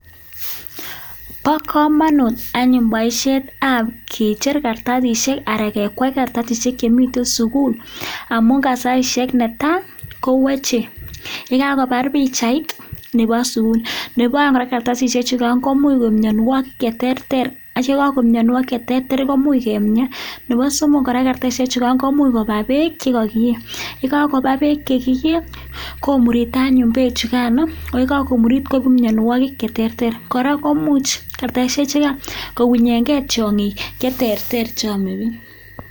Bo kamanut anyun boisietab kecher kartasisiek anan kekwei kartasisiek chemitei sukul amu ka saisiek ne tai kou achek yekakobar pichait nebo suun nebo kartasisiek chugai komuch koib mianwokik cheterter atya kokakoib mianwokik cheterter komuch kemian nebo somok kora komuch koba beek chekakie yekakoba beek chekiee komurita nayun beek chugan yekakomurit koib mianwokik cheterter kora komuch kartasisiek cho kounyengei tiongik cheterter cheome biik